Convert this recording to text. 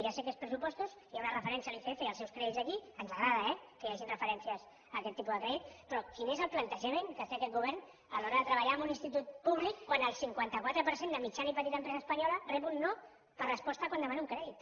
ja sé que són pressupostos i hi ha una referència al icf i als seus crèdits aquí ens agrada eh que hi hagin referències a aquest tipus de crèdit però quin és el plantejament que té aquest govern a l’hora de treballar amb un institut públic quan el cinquanta quatre per cent de mitjana i petita empresa espanyola rep un no per resposta quan demana un crèdit